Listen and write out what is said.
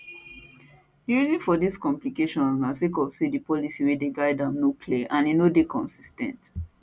di reason for dis complication na sake of say di policy wey dey guide am no clear and e no dey consis ten t